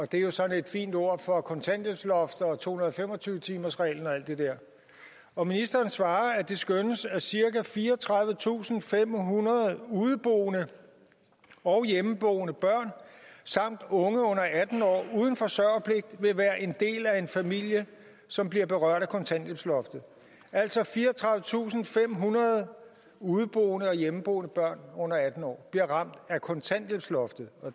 det er jo sådan et fint ord for kontanthjælpsloft og to hundrede og fem og tyve timersreglen og alt det der og ministeren har svaret at det skønnes at cirka fireogtredivetusinde og femhundrede udeboende og hjemmeboende børn samt unge under atten år uden forsørgerpligt vil være en del af en familie som bliver berørt af kontanthjælpsloftet altså fireogtredivetusinde og femhundrede udeboende og hjemmeboende børn under atten år bliver ramt af kontanthjælpsloftet